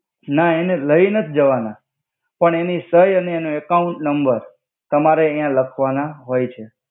ના એને લઇ નથી જવાના પણ એનિ સઈ અને એનુ અકાઉંટ નમ્બર તમારે યા લખવાના હોય છે.